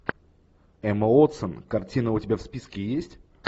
эмма уотсон картина у тебя в списке есть